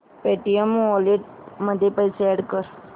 Paytm wallet मध्ये पैसे add कर